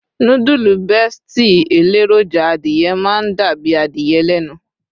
nudulu besti eleroja adìye ma n dàbí adìye lẹnu